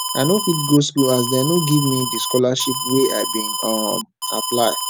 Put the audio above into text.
i no fit go school as dem no give me di scholarship wey i bin um apply